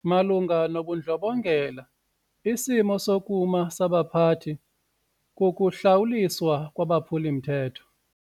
Malunga nobundlobongela isimo sokuma sabaphathi kukuhlawuliswa kwabaphuli-mthetho.